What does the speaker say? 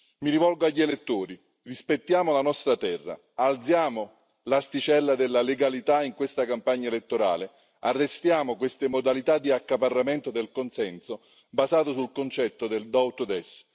Mi rivolgo agli elettori rispettiamo la nostra terra, alziamo l'asticella della legalità in questa campagna elettorale, arrestiamo queste modalità di accaparramento del consenso, basato sul concetto del do ut des